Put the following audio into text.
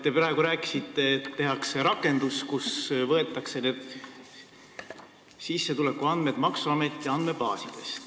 Te praegu rääkisite, et tehakse rakendus, mille abil sissetulekuandmed võetakse maksuameti andmebaasidest.